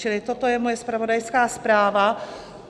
Čili toto je moje zpravodajská zpráva.